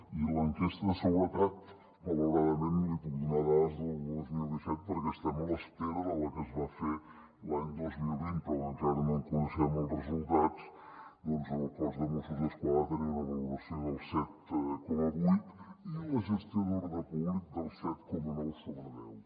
i a l’enquesta de seguretat malauradament li puc donar dades del dos mil disset perquè estem a l’espera de la que es va fer l’any dos mil vint però encara no en coneixem els resultats doncs el cos de mossos d’esquadra tenia una valoració del set coma vuit i la gestió d’ordre públic del set coma nou sobre deu